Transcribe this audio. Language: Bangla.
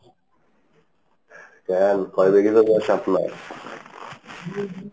কেন, কয় বিঘি জমি আছে আপনার?